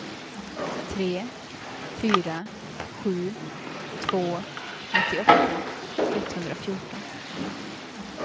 tre fyra sju två nittioåtta etthundrafjorton